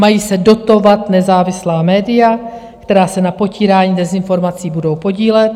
Mají se dotovat nezávislá média, která se na potírání dezinformací budou podílet.